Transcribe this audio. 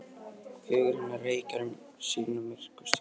Hugur hennar reikar um sína myrkustu kima.